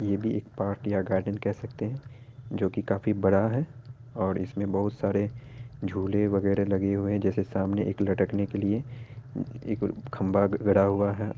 ये भी एक पार्क या गार्डन कह सकते हैं जो की काफी बड़ा है और इसमें बहुत सारे झूले वगेरह लगे हुए हैं| जैसे सामने एक लटकने के लिए इ इक और खंबा ग गढ़ा हुआ है।